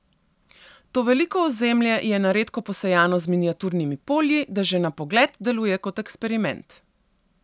To veliko ozemlje je na redko posejano z miniaturnimi polji, da že na pogled deluje kot eksperiment.